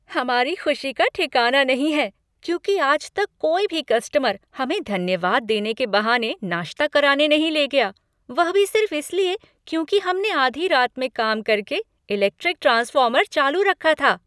हमारी खुशी का ठिकाना नहीं है, क्योंकि आज तक कोई भी कस्टमर हमें धन्यवाद देने के बहाने नाश्ता कराने नहीं ले गया, वह भी सिर्फ इसलिए, क्योंकि हमने आधी रात में काम करके इलेक्ट्रिक ट्रांसफ़ॉर्मर चालू रखा था।